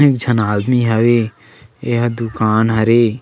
तीन झन आदमी हवे ये ह दुकान हरे--